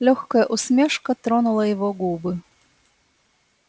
лёгкая усмешка тронула его губы